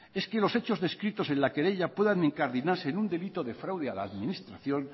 es que los hechos descritos en la querella puedan incardinarse en un delito de fraude a la administración